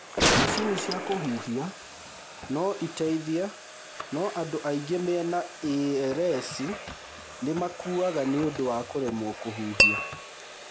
Macini ya kũhuhia no ĩteithie no andũ aingĩ mena ALS nĩ makuaga nĩũndũ wa kũremwo kũhuhia.